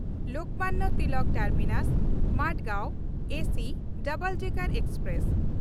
Lokmanya Tilak ᱴᱟᱨᱢᱤᱱᱟᱥ–ᱢᱟᱰᱜᱟᱸᱶ AC double decker express